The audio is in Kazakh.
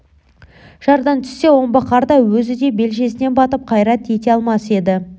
жардан түссе омбы қарда өзі де белшесінен батып қайрат ете алмас еді